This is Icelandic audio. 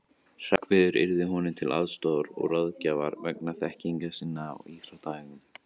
Hreggviður yrði honum til aðstoðar og ráðgjafar vegna þekkingar sinnar á íþróttaæfingum.